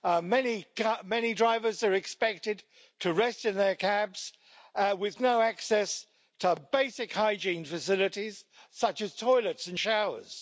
Many drivers are expected to rest in their cabs, with no access to basic hygiene facilities, such as toilets and showers.